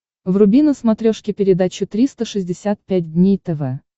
вруби на смотрешке передачу триста шестьдесят пять дней тв